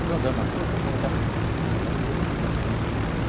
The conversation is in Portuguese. Eu estou andando na rua, a molecada me cumprimenta, porque eu cumprimento, né?